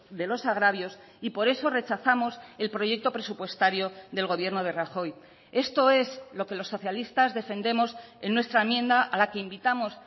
de los agravios y por eso rechazamos el proyecto presupuestario del gobierno de rajoy esto es lo que los socialistas defendemos en nuestra enmienda a la que invitamos